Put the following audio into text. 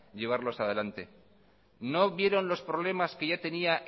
llevarlos a delante no vieron los problemas que ya tenía